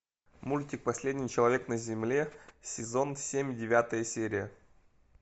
мультик последний человек на земле сезон семь девятая серия